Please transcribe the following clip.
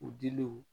U diliw